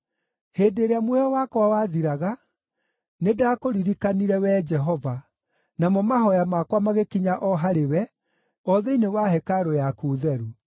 “Hĩndĩ ĩrĩa muoyo wakwa wathiraga, nĩndakũririkanire Wee Jehova, namo mahooya makwa magĩkinya o harĩwe, o thĩinĩ wa hekarũ yaku theru.